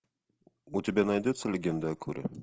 у тебя найдется легенда о корре